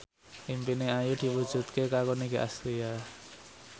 impine Ayu diwujudke karo Nicky Astria